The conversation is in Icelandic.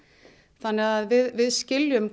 þannig að við skiljum